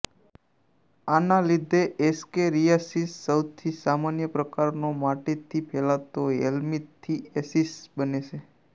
આના લીધે એસ્કેરિયાસિસ સૌથી સામાન્ય પ્રકારનો માટીથી ફેલાતો હેલ્મીંથીએસીસ બને છે